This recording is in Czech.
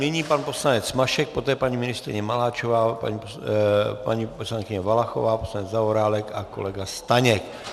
Nyní pan poslanec Mašek, poté paní ministryně Maláčová, paní poslankyně Valachová, poslanec Zaorálek a kolega Staněk.